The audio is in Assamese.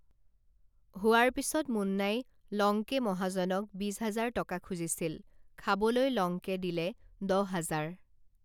হোৱাৰ পিছত মুন্নাই লংকে মহাজনক বিশহাজাৰ টকা খুজিছিল খাবলৈ লংকে দিলে দহহাজাৰ